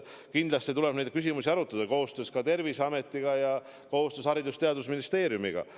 Kindlasti tuleb neid küsimusi arutada koostöös Terviseametiga ja koostöös Haridus- ja Teadusministeeriumiga.